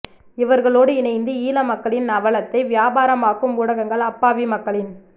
இவர்களோடு இணைந்து ஈழ மக்களின் அவலத்தை வியாபாரமாக்கும் ஊடகங்கள் அப்பாவி மக்களின்